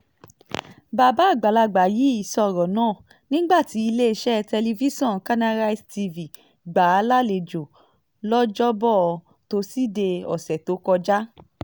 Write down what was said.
bàbá àgbàlagbà yìí sọ̀rọ̀ náà nígbà tí iléeṣẹ́ tẹlifíṣọ̀n kanarise tv gbà á lálejò lọ́jọ́bọ́ tosidee ọ̀sẹ̀ tó kọjá